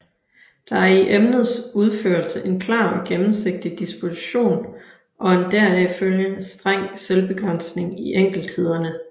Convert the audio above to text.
Der er i emnets udførelse en klar og gennemsigtig disposition og en deraf følgende streng selvbegrænsning i enkelthederne